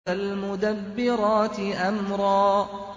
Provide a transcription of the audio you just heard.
فَالْمُدَبِّرَاتِ أَمْرًا